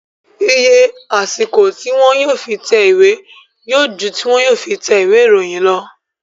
Iye àsìkò tí wọn yóò fi tẹ ìwé yóò ju tí wọn yóò fi tẹ ìwé ìròyìn lọ